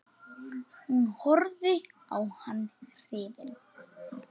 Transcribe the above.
Hún horfði á hann hrifin.